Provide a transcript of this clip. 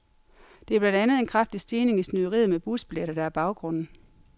Det er blandt andet en kraftig stigning i snyderiet med busbilletter, der er baggrunden.